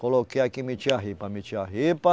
Coloquei aqui, meti a ripa, meti a ripa.